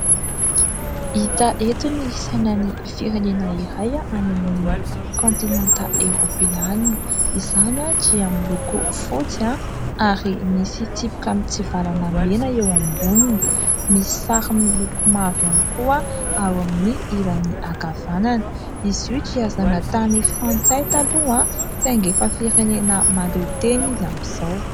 Hita eto ny sainan'ny firenena iray any amin'ny kantinanta eropeanina izany dia miloko fotsy ary misy tsipika mitsivalana mena eo amboniny misy sary miloko mavo ihany koa ao amin'ny ilany ankavanana izy io dia zanatany frantsay taloha saingy efa firenena mahaleo tena izy amin'izao.